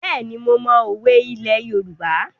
Bẹ́ẹ̀ni, mo mọ òwe ilẹ̀ Yorùbá.